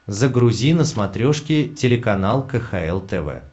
загрузи на смотрешке телеканал кхл тв